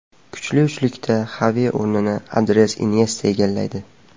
Kuchli uchlikda Xavi o‘rnini Andres Inyesta egallaydi.